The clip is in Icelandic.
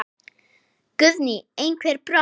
Guðný: Einhver brot?